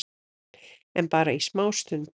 En bara í smá stund.